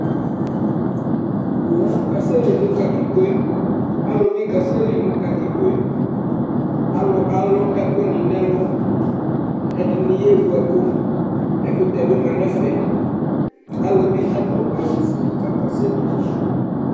Owu kasɛli nʋ katikpo yɛ Alʋ bɩ kasɛli nʋ katikpo yɛ Alʋ alʋ ɛkʋnɩ nʋ ɛlʋ Ɛdɩnɩ yaɣa ewu ɛkʋ Ɛkʋtɛ bɩ ma nʋ ɛfɛ Alʋ bɩ adʋ awʋfue kʋ akasɛli